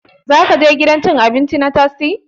Za ka je gidan cin abinci na tastia?